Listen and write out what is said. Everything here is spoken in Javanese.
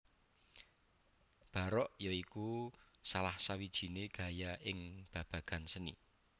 Barok ya iku salah sawijiné gaya ing babagan seni